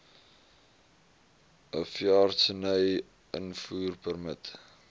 n veeartseny invoerpermit